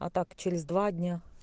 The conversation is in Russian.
а так через два дня